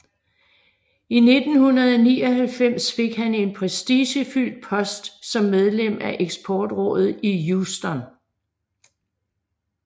I 1999 fik han en prestigefyldt post som medlem af eksportrådet i Houston